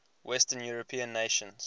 western european nations